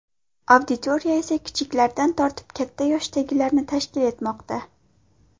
Auditoriya esa kichiklardan tortib katta yoshdagilarni tashkil etmoqda.